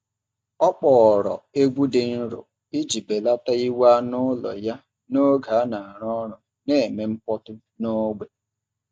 Ọ kpọọrọ egwu dị nro iji belata iwe anụ ụlọ ya n’oge a na-arụ ọrụ na-eme mkpọtụ n’ógbè.